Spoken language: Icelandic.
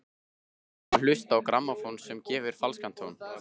Þar má hlusta á grammófón sem að gefur falskan tón.